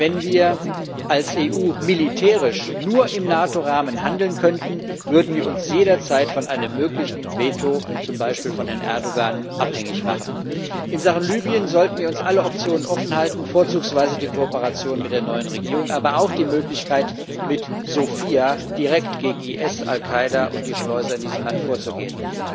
Wenn wir als EU militärisch nur im NATO Rahmen handeln könnten, würden wir uns jederzeit von einem möglichen Veto, zum Beispiel von Herrn Erdoğan, abhängig machen. In Sachen Libyen sollten wir uns alle Optionen offenhalten, vorzugsweise die Kooperation mit der neuen Regierung, aber auch die Möglichkeit, mit Sophia direkt gegen IS, Al Qaida und die Schleuser in diesem Land vorzugehen.